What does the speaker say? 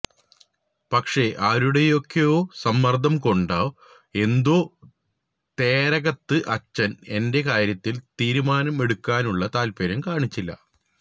പക്ഷേ ആരുടെയൊക്കെയോ സമ്മര്ദം കൊണ്ടോ എന്തോ തേരകത്ത് അച്ചന് എന്റെ കാര്യത്തില് തീരുമാനമെടുക്കാനുള്ള താല്പ്പര്യം കാണിച്ചില്ല